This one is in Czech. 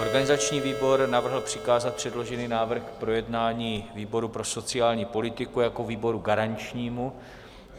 Organizační výbor navrhl přikázat předložený návrh k projednání výboru pro sociální politiku jako výboru garančnímu.